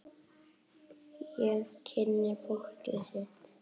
Og kynna fólkið sitt.